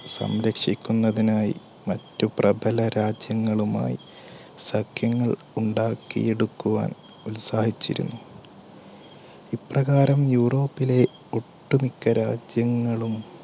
സംരക്ഷിക്കുന്നതിനായി മറ്റു പ്രബലരാജ്യങ്ങളുമായി സഖ്യങ്ങൾ ഉണ്ടാക്കിയെടുക്കുവാൻ ഉത്സാഹിച്ചിരുന്നു. ഇപ്രകാരം യൂറോപ്പ് ഒട്ടുമിക്ക രാജ്യങ്ങളും